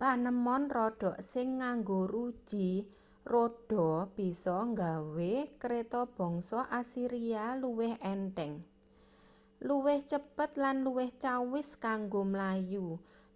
panemon rodha sing nganggo ruji rodha bisa nggawe kreta bangsa asiria luwih entheng luwih cepet lan luwih cawis kanggo mlayu